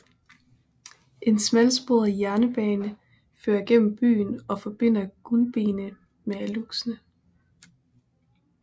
En smalsporet jernbane fører gennem byen og forbinder Gulbene med Alūksne